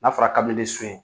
N'a fɔra